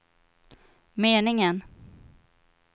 meningen